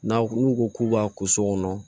N'aw n'u ko k'u b'a kɛ so kɔnɔ